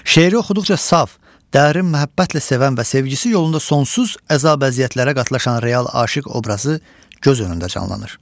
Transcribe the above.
Şeiri oxuduqca saf, dərin məhəbbətlə sevən və sevgisi yolunda sonsuz əzab-əziyyətlərə qatlaşan real aşiq obrazı göz önündə canlanır.